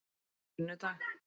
sunnudag